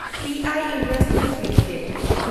P I industries limited